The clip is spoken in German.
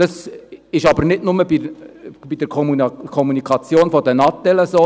Das ist aber nicht nur bei der Kommunikation mit den Natels so.